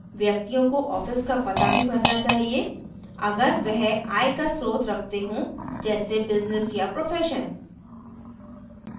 व्यक्तियों को office का पता भी भरना चाहिए अगर वह आय का स्रोत रखते हों जैस बिज़्निस या profession